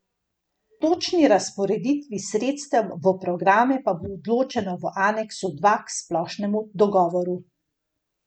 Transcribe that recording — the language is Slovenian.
O točni razporeditvi sredstev v programe pa bo odločeno v aneksu dva k splošnemu dogovoru.